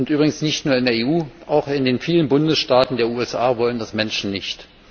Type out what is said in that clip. übrigens nicht nur in der EU, auch in den vielen Bundesstaaten der USA wollen das Menschen nicht.